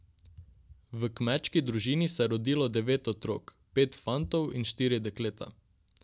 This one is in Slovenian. V kmečki družini se je rodilo devet otrok, pet fantov in štiri dekleta.